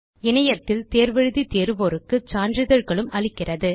இணையத்தில் தேர்வு எழுதி தேர்வோருக்கு சான்றிதழ்களும் அளிக்கிறது